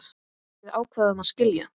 Við ákváðum að skilja.